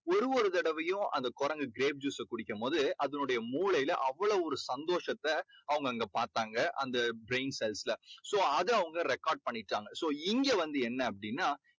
ஒரு ஒரு தடவையும் அந்த குரங்கு grape juice அ குடிக்கும்போது அதனுடைய மூலையில அவ்வளவு ஒரு சந்தோசத்தை அவங்க அங்க பார்த்தாங்க அந்த brain cells ல so அதை அவங்க record பண்ணிகிட்டாங்க. so இங்க வந்து என்ன அப்படின்னா